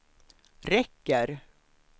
räcker